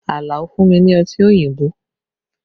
Alao fún mi ní Ọtí òyìnbó